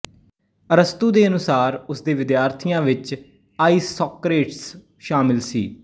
ਅਰਸਤੂ ਦੇ ਅਨੁਸਾਰ ਉਸਦੇ ਵਿਦਿਆਰਥੀਆਂ ਵਿੱਚ ਆਈਸੋਕਰੇਟਸ ਸ਼ਾਮਿਲ ਸੀ